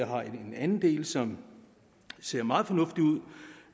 har en anden del som ser meget fornuftig ud